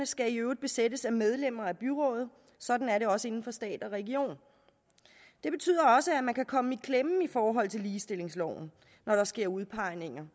skal i øvrigt besættes af medlemmer af byrådet sådan er det også inden for stat og regioner det betyder også at man kan komme i klemme i forhold til ligestillingsloven når der sker udpegninger